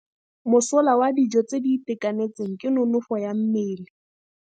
Mosola wa dijô tse di itekanetseng ke nonôfô ya mmele.